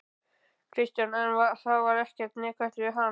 Kristján: En var þá ekkert neikvætt við hana?